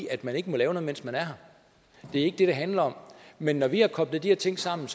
at man ikke må lave noget mens man er her det er ikke det det handler om men når vi har koblet de her ting sammen